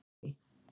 Elí